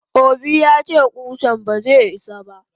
Obi yace kusan baze isa ba.